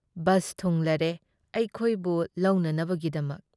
Bus ꯊꯨꯡꯂꯔꯦ ꯑꯩꯈꯣꯏꯕꯨ ꯂꯧꯅꯅꯕꯒꯤꯗꯃꯛ ꯫